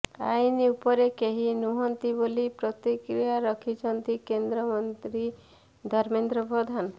ଆଇନ ଉପରେ କେହି ନୁହନ୍ତି ବୋଲି ପ୍ରତିକ୍ରିୟା ରଖିଛନ୍ତି କେନ୍ଦ୍ରମନ୍ତ୍ରୀ ଧର୍ମେନ୍ଦ୍ର ପ୍ରଧାନ